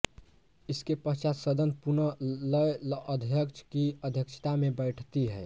इसके पश्चात सदन पुनः लय अध्यक्ष की अध्यक्षता में बैठती है